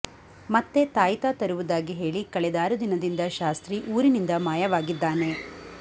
ಮತ್ತೆ ತಾಯಿತ ತರುವುದಾಗಿ ಹೇಳಿ ಕಳೆದಾರು ದಿನದಿಂದ ಶಾಸ್ತ್ರಿ ಊರಿನಿಂದ ಮಾಯವಾಗಿದ್ದಾನೆ